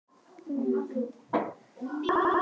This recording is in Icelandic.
Ég er orðin vitlaus